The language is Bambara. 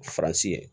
Faransi ye